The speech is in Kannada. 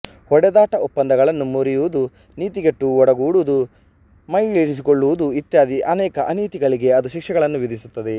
ಹೊಡೆದಾಟ ಒಪ್ಪಂದಗಳನ್ನು ಮುರಿಯುವುದು ನೀತಿಗೆಟ್ಟು ಒಡಗೂಡುವುದು ಮೈಯಿಳಿಸಿಕೊಳ್ಳುವುದು ಇತ್ಯಾದಿ ಅನೇಕ ಅನೀತಿಗಳಿಗೆ ಅದು ಶಿಕ್ಷೆಗಳನ್ನು ವಿಧಿಸುತ್ತದೆ